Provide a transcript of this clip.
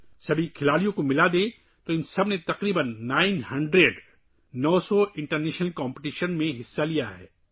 اگر ہم تمام کھلاڑیوں کو شامل کریں تو ان سب نے نو سو کے قریب بین الاقوامی مقابلوں میں حصہ لیا ہے